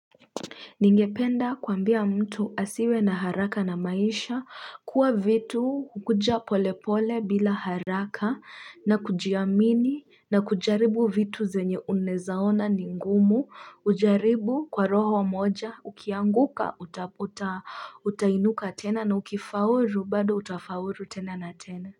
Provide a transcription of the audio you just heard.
Ningependa kuambia mtu asiwe na haraka na maisha kuwa vitu hukuja polepole bila haraka na kujiamini na kujaribu vitu zenye unaezaona ningumu ujaribu kwa roho moja ukianguka utainuka tena na ukifauru bado utafauru tena na tena.